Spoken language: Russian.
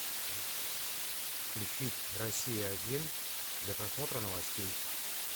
включить россия один для просмотра новостей